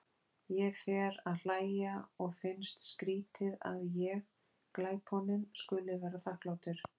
Ég fer að hlæja og finnst skrýtið að ég, glæponinn, skuli vera þakklátur.